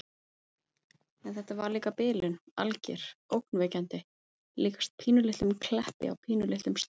En þetta var líka bilun. alger. ógnvekjandi. líkast pínulitlum Kleppi á pínulitlum stað.